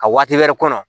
A waati wɛrɛ kɔnɔ